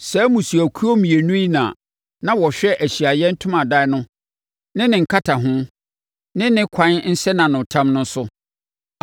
Saa mmusuakuo mmienu yi na na wɔhwɛ Ahyiaeɛ Ntomadan no ne ne nkataho no ne ɛkwan nsɛnanotam no so.